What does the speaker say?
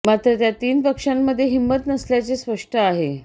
मात्र त्या तीन पक्षांमध्ये हिंमत नसल्याचे स्पष्ट आहे